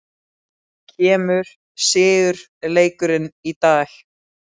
Kemur sigurleikurinn í dag?